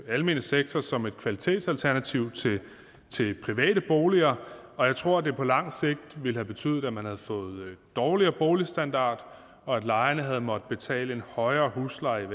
almene sektor som et kvalitetsalternativ til private boliger og jeg tror at det på lang sigt ville have betydet at man havde fået en dårligere boligstandard og at lejerne havde måttet betale en højere husleje i